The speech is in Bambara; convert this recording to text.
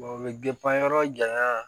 o bɛ yɔrɔ janya